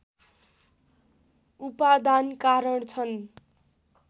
उपादान कारण छन्